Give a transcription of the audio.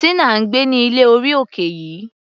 Tina ń gbé ní ilé orí òkè yìí.